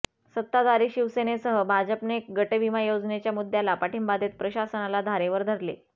सत्ताधारी शिवसेनेसह भाजपने गटविमा योजनेच्या मुद्द्याला पाठिंबा देत प्रशासनाला धारेवर धरले